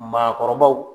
Maakɔrɔbaw